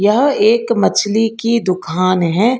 यह एक मछली की दुकान है।